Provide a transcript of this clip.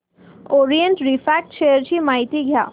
Orient refract share ची माहिती द्या